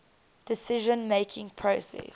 decision making process